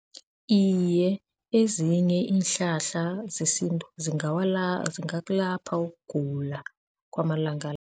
Iye, ezinye iinhlahla zesintu zingakulapha ukugula kwamalanga la.